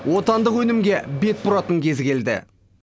отандық өнімге бет бұратын кез келді